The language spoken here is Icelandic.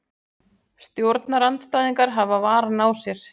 Stjórnarandstæðingar hafa varann á sér